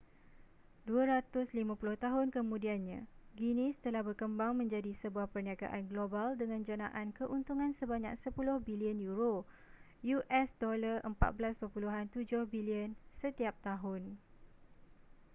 250 tahun kemudiannya guinness telah berkembang menjadi sebuah perniagaan global dengan janaan keuntungan sebanyak 10 billion euro us $14.7 billion setiap tahun